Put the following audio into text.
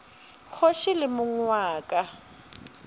kgoši le mong wa ka